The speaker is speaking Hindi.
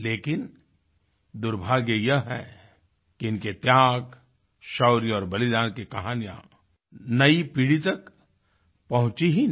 लेकिन दुर्भाग्य यह है कि इनके त्याग शौर्य और बलिदान की कहानियाँ नई पीढ़ी तक पहुँची ही नहीं